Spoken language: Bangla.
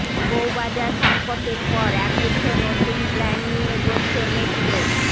বউবাজার সঙ্কটের পর একগুচ্ছ নতুন প্ল্যান নিয়ে এগোচ্ছে মেট্রো